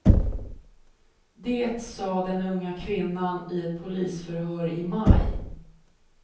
Det sa den unga kvinnan i ett polisförhör i maj.